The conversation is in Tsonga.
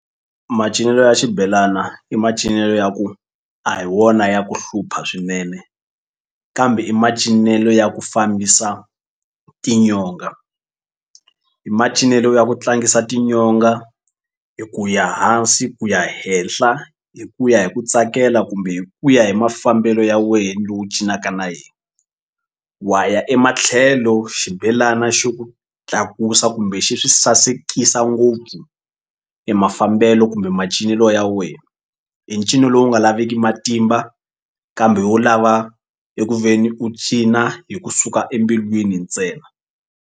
Macinelo ya xibelana i macinelo ya ku a hi wona ya ku hlupha swinene kambe i macinelo ya ku fambisa tinyonga i macinelo ya ku tlangisa tinyonga hi ku ya hansi ku ya henhla hi ku ya hi ku tsakela kumbe hi ku ya hi mafambelo ya wena ni lo wu cinaka na yena. Wa ya ematlhelo xibelana xi ku tlakusa kumbe xi swi sasekisa ngopfu e mafambelo kumbe macinelo ya wena i ncino lowu nga laveki matimba kambe wu lava eku ve ni u cina hi kusuka embilwini ntsena.